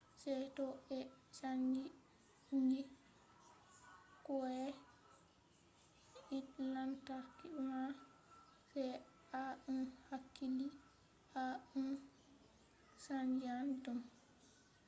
sai to ɓe chanji kwai hite lantarki man. sai to a hakkili to a chanjan ɗum